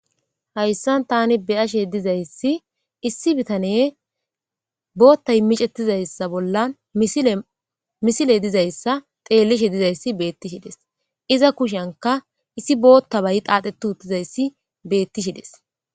Hayssan tani beyashe dizayssi issi bitane bootta micettizayssa bolla misile dizayssa xeellishe dizayssi betti shides iza kushenka issi bootta bay qaaxetu huttizayssi beetti shides